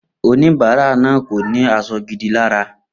Oníbárà náà kò ní as̩o̩ gidi lára